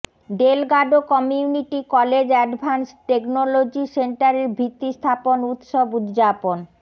Delgado community college advanced technology সেনটারের ভিত্তি স্থাপন উৎসব উদযাপন